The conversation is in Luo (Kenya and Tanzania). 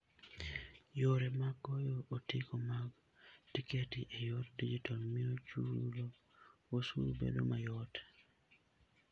Yore mag goyo otiko mag tiketi e yor digital miyo chulo osuru bedo mayot.